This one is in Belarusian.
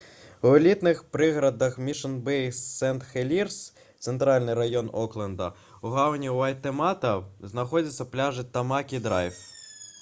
у элітных прыгарадах мішн-бэй і сент-хелірс цэнтральны раён окленда у гавані уэйтэмата знаходзяцца пляжы тамакі-драйв